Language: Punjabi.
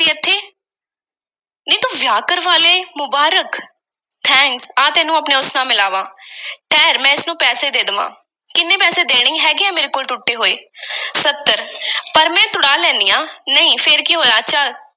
ਨੀ, ਤੂੰ ਤਾਂ ਵਿਆਹ ਵੀ ਕਰਵਾ ਲਿਆ ਏ—ਮੁਬਾਰਕ! thank ਆ ਤੈਨੂੰ ਆਪਣੇ ‘ਉਸ’ ਨਾਲ ਮਿਲਾਵਾਂ। ਠਹਿਰ, ਮੈਂ ਇਸ ਨੂੰ ਪੈਸੇ ਦੇ ਦੇਵਾਂ। ਕਿੰਨੇ ਪੈਸੇ ਦੇਣੇ, ਹੈਗੇ ਆ ਮੇਰੇ ਕੋਲ ਟੁੱਟੇ ਹੋਏ। ਸੱਤਰ, ਪਰ ਮੈਂ ਤੁੜਾ ਲੈਂਦੀ ਆਂ। ਨਹੀਂ, ਫੇਰ ਕੀ ਹੋਇਆ